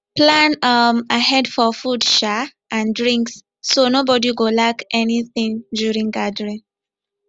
plan um ahead for food um and drinks so nobody go lack anything during gathering